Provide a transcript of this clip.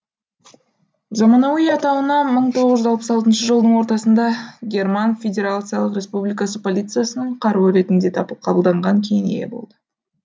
заманауи атауына мың тоғыз жүзз алпыс алтыншы жылдың ортасында герман федерациялық республикасы полициясының қаруы ретінде қабылданғаннан кейін ие болды